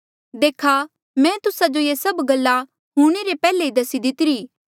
देखा मैं तुस्सा जो ये सभ गल्ला हूंणे रे पैहले ई दसी दीतिरी